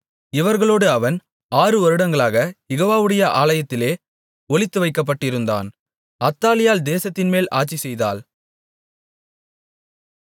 இவர்களோடு அவன் ஆறுவருடங்களாகக் யெகோவாவுடைய ஆலயத்திலே ஒளித்துவைக்கப்பட்டிருந்தான் அத்தாலியாள் தேசத்தின்மேல் ஆட்சிசெய்தாள்